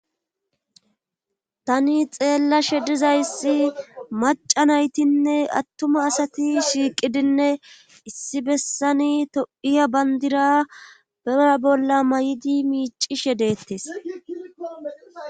tani xeellashe dizayssi maca naytinne attuma asati shiiqidinne issi bessani topiya bandira bera bolla may7idi miicishe deettes